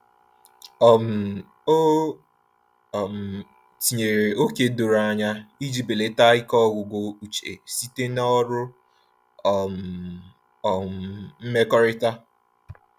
um O um tinyere ókè doro anya iji belata ike ọgwụgwụ uche site na ọrụ um um mmekọrịta.